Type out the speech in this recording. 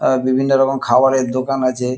আ বিভিন্ন রকম খাবারের দোকান আছে।